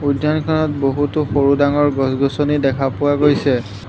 উদ্যানখনত বহুতো সৰু ডাঙৰ গছ-গছনি দেখা পোৱা গৈছে।